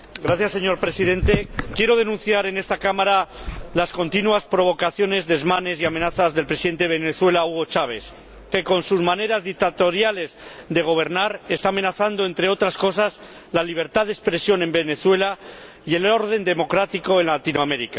Señor Presidente, quiero denunciar en esta Cámara las continuas provocaciones, desmanes y amenazas del Presidente de Venezuela, Hugo Chávez, que, con sus maneras dictatoriales de gobernar, está amenazando, entre otras cosas, la libertad de expresión en Venezuela y el orden democrático en Latinoamérica.